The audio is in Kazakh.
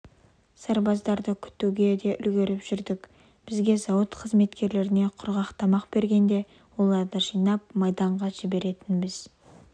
сарбаздарды күтуге де үлгеріп жүрдік бізге зауыт қызметкерлеріне құрғақ тамақ бергенде оларды жинап майданға жіберетінбіз